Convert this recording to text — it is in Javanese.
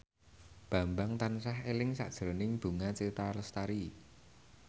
Bambang tansah eling sakjroning Bunga Citra Lestari